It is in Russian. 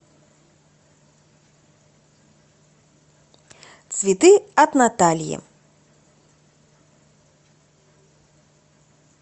цветы от натальи